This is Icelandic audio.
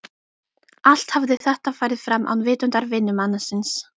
Allt hafði þetta farið fram án vitundar vinnumannsins.